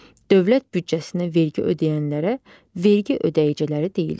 Dövlət büdcəsinə vergi ödəyənlərə vergi ödəyiciləri deyilir.